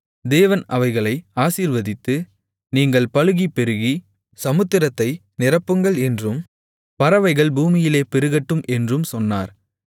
தேவன் அவைகளை ஆசீர்வதித்து நீங்கள் பலுகிப் பெருகி சமுத்திரத்தை நிரப்புங்கள் என்றும் பறவைகள் பூமியிலே பெருகட்டும் என்றும் சொன்னார்